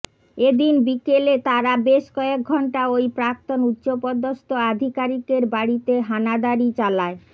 এদিন বিকেলে তারা বেশ কয়েক ঘণ্টা ওই প্রাক্তন উচ্চপদস্থ আধিকারিকের বাড়িতে হানাদারি চালায়